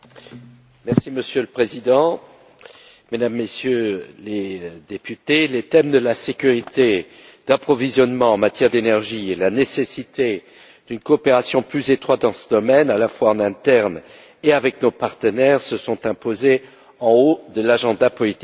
Monsieur le Président, Mesdames et Messieurs les députés, les thèmes de la sécurité de l'approvisionnement en énergie et de la nécessité d'une coopération plus étroite dans ce domaine, à la fois en interne et avec nos partenaires, se sont imposés en haut de l'agenda politique de l'Union.